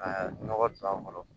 Aa nɔgɔ don a kɔrɔ